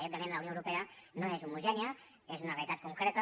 i òbviament la unió europea no és homogènia és una realitat concreta